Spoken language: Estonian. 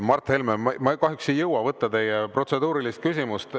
Mart Helme, ma kahjuks ei jõua võtta teie protseduurilist küsimust.